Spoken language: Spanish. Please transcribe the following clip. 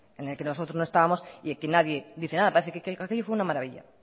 en el que nosotros no estábamos y aquí nadie dice nada parece que aquello fue una maravilla